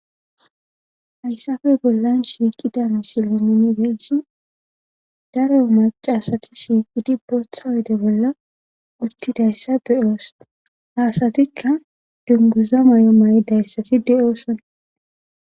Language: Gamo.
Hayssafe bollan shiiqida misile minibeeso daro maca asati shiiqidi bootha wede bolla uttidayssa beyoos haasatikka dunguza may7o may dayssati de7oosonna.